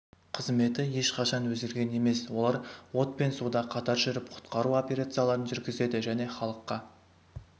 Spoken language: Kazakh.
қызметі ешқашан өзгерген емес олар от пен суда қатар жүріп құтқару операцияларын жүргізеді және халыққа